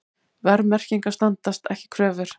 Verðmerkingar standast ekki kröfur